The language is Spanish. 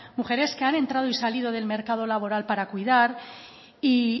mujeres que han entrado y salido del mercado laboral para cuidar y